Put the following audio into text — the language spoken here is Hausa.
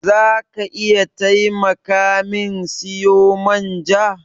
Za ka iya taimaka min siyo man ja?